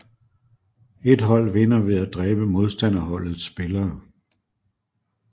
Et hold vinder ved at dræbe modstanderholdets spillere